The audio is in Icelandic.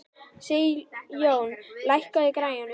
Sigjón, lækkaðu í græjunum.